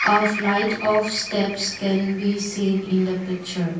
a flight of steps can be seen in the picture.